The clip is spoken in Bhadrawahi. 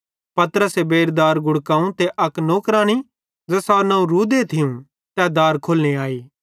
पतरसे बेइरू दार गुड़कावं त अक नौकरानी ज़ेसारू नवं रूदे थियूं तै दार खोलने आई